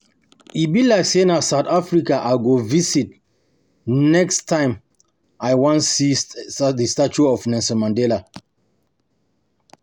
E be like say na South say na South Africa I go um visit um next um time. I wan see the statue of Nelson Mandela